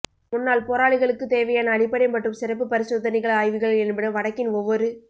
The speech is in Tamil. முன்னாள் போராளிகளுக்குத் தேவையான அடிப்படை மற்றும் சிறப்புப் பரிசோதனைகள் ஆய்வுகள் என்பன வடக்கின் ஒவ்வொரு